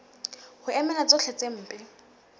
ho emela tsohle tse mpe